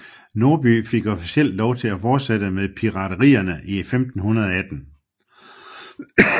Norby fik officielt lov til at fortsætte med piraterierne i 1518